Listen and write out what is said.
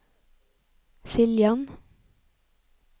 Siljan